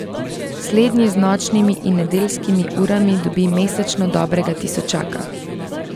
Slednji z nočnimi in nedeljskimi urami dobi mesečno dobrega tisočaka.